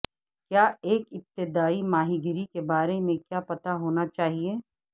کیا ایک ابتدائی ماہی گیری کے بارے میں کیا پتہ ہونا چاہیئے